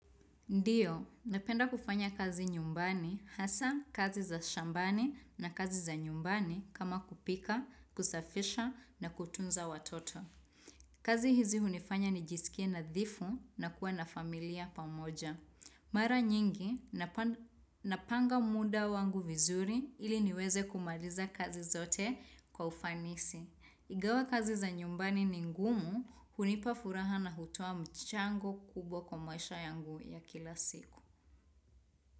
Ndiyo, napenda kufanya kazi nyumbani, hasa kazi za shambani na kazi za nyumbani kama kupika, kusafisha na kutunza watoto. Kazi hizi hunifanya nijisikie nadhifu na kuwa na familia pamoja. Mara nyingi, napanga muda wangu vizuri ili niweze kumaliza kazi zote kwa ufanisi. Ingawa kazi za nyumbani ni ngumu, hunipa furaha na hutoa mchango kubwa kwa maisha yangu ya kila siku.